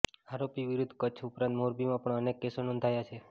આરોપી વિરુદ્ધ કચ્છ ઉપરાંત મોરબીમાં પણ અનેક કેસો નોંધાયા છે